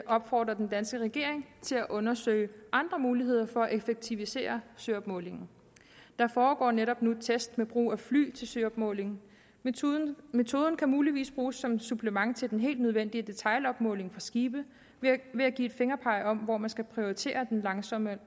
opfordre den danske regering til at undersøge andre muligheder for at effektivisere søopmålingen der foregår netop nu test med brug af fly til søopmåling metoden metoden kan muligvis bruges som supplement til den helt nødvendige detailopmåling fra skibe ved at give et fingerpeg om hvor man skal prioritere den langsommelige og